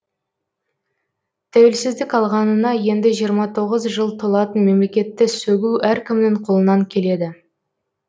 тәуелсіздік алғанына енді жиырма тоғыз жыл толатын мемлекетті сөгу әркімнің қолынан келеді